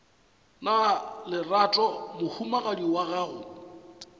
na lerato mohumagadi wa gago